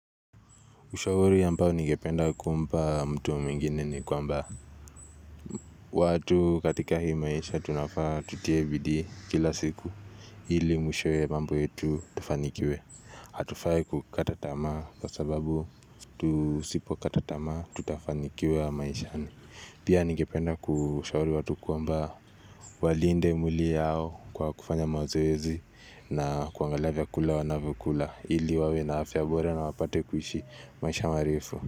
Ushauri ambao ningependa kuumpa mtu mwingine ni kwamba. Watu katika hii maisha tunafaa tutie bidii kila siku. Ili mwishowe mambu yetu tufanikiwe. Hatufai kukata tamaa kwa sababu. Tusipo kata tamaa tutafanikiwa maishani. Pia ningependa kushauri watu kwamba. Walinde mwili yao kwa kufanya mazoezi na kuangalia vyakula wanavyokula. Hili wawe na afya bora na wapate kuishi maisha marefu.